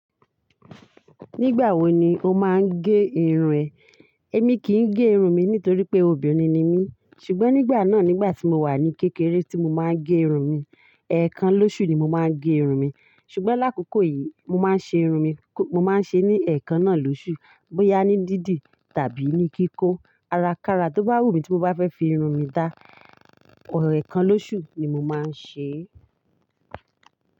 Nígbà wo ni o máa ń gé irun rẹ? Èmi kì í gé irun mi nítorí pé obìnrin ni mí. Ṣùgbọ́n nígbà náà, nígbà tí mo wà ní kékeré tí mo máa ń gé irun mi, ẹ̀ẹ̀kan lóṣù ni mo má ń gé irun mi. Ṣùgbọ́n lákòókò yìí, mo má ń ṣe irun mi, mo má ń ṣe ní ẹ̀ẹ̀kan náà lóṣù. Bóyá ní díìdíì tàbí ní kíkó. Ara kára tó bá wù mí tí mo bá fẹ́ fi irun mi dá, ẹ̀ẹ̀kan lóṣù ni mo má ń ṣe e.